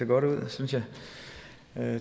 godt ud synes jeg